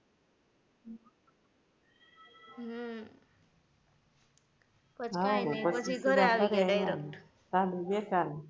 હમ પછી કાઈ નાઈ પછી ઘરે આવી ગયા direct